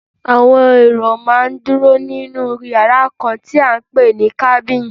Àwọn èrò máa ń dúró nínú yàrá kan tí à ń pè ní cabin.